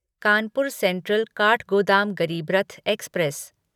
Kanpur central Kathgodam Garib Rath express